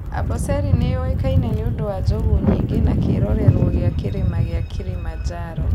Amboseli nĩ yũĩkaine nĩ ũndũ wa njogu nyingĩ na kĩrorerũo gĩa Kĩrĩma gĩa Kilimanjaro.